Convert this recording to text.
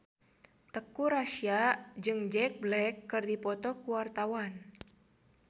Teuku Rassya jeung Jack Black keur dipoto ku wartawan